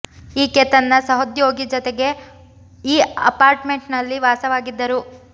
ಈಕೆ ತನ್ನ ಸಹೋದ್ಯೋಗಿ ಜತೆಗೆ ಈ ಅಪಾರ್ಟ್ ಮೆಂಟ್ ನಲ್ಲಿ ವಾಸವಾಗಿದ್ದರು